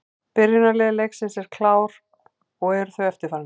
Byrjunarlið leiksins eru klár og eru þau eftirfarandi: